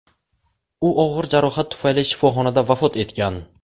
U og‘ir jarohat tufayli shifoxonada vafot etgan.